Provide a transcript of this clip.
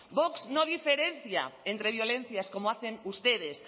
vox no diferencia entre violencias como hacen ustedes